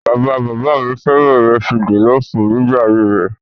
Bàba bàbá mi fẹ́ràn ìrẹsì jọ̀lọ́ọ́fù nígbà ayé rẹ̀.